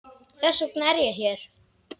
Þess vegna er ég hér.